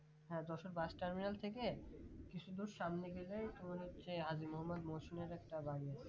হ্যাঁ Jessore bus terminal থেকে কিছু দূর সামনে গেলেই তোমার হচ্ছে হাজী মোহাম্মদ মহসিন এর একটা বাড়ি আছে